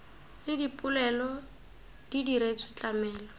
le dipoelo di diretswe tlamelo